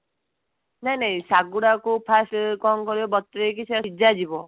ନାଇଁ ନାଇଁ ସାଗୁଗୁଡାକୁ first କଣ କରିବ ବତୁରେଇ କି ସିଝାଯିବ